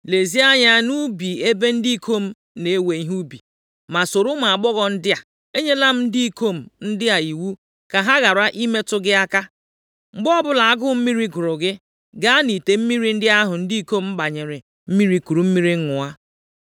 Lezie anya nʼubi ebe ndị ikom na-ewe ihe ubi, ma soro ụmụ agbọghọ ndị a. Enyela m ndị ikom ndị a iwu ka ha ghara ịmetụ gị aka. Mgbe ọbụla agụụ mmiri gụrụ gị, gaa nʼite mmiri ndị ahụ ndị ikom gbanyere mmiri kuru mmiri ṅụọ.”